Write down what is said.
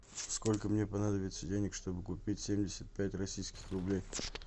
сколько мне понадобится денег чтобы купить семьдесят пять российских рублей